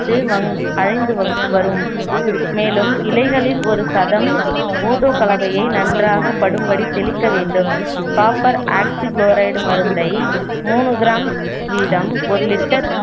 அழிந்துவரும் மேலும் இலைகளில் ஒரு சதம் போர்டோ கலவையை நன்றாக படும்படி தெளிக்க வேண்டும் காப்பர் ஆக்சிகுளோரைடு மருந்தை மூணு gram வீதம் ஒரு litre